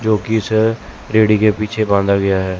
जोकि इसे रेड़ी के पीछे बांधा गया है।